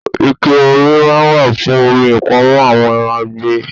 Ike-omi máa ń wà fún omi ìpamọ́ àwọn àgbè.